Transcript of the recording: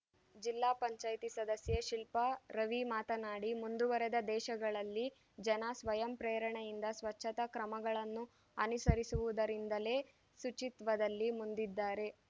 ಜಿಲ್ಲಾ ಪಂಚಾಯತಿ ಸದಸ್ಯೆ ಶಿಲ್ಪಾ ರವಿ ಮಾತನಾಡಿ ಮುಂದುವರೆದ ದೇಶಗಳಲ್ಲಿ ಜನ ಸ್ವಯಂ ಪ್ರೇರಣೆಯಿಂದ ಸ್ವಚ್ಛತಾ ಕ್ರಮಗಳನ್ನು ಅನುಸರಿಸುವುದರಿಂದಲೇ ಶುಚಿತ್ವದಲ್ಲಿ ಮುಂದಿದ್ದಾರೆ